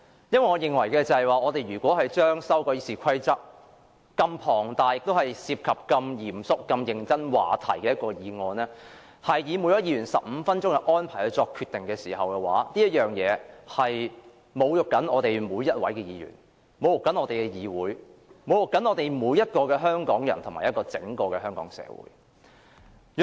我認為，如此龐大地修改《議事規則》，並涉及如此嚴肅和認真的話題，只安排每位議員發言15分鐘後便作決定，是侮辱我們每一位議員、侮辱我們的議會、侮辱每一名香港人和整個香港社會。